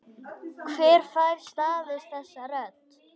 Hver fær staðist þessa rödd?